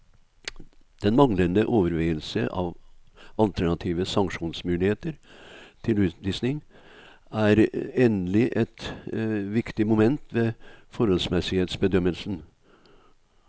Den manglende overveielse av alternative sanksjonsmuligheter til utvisning er endelig et viktig moment ved forholdsmessighetsbedømmelsen.